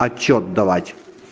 отчёт давать